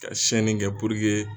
Ka sɛnni kɛ